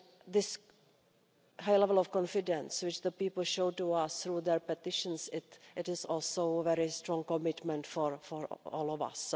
This high level of confidence which the people show to us through their petitions is also a very strong commitment for all of us.